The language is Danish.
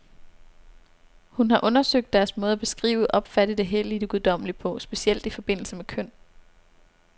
Hun har undersøgt deres måde at beskrive, opfatte det hellige, det guddommelige på, specielt i forbindelse med køn.